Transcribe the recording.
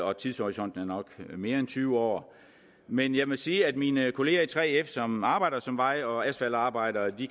og tidshorisonten er nok mere end tyve år men jeg må sige at mine kolleger i 3f som arbejder som vej og asfaltarbejdere